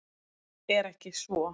Er ekki svo?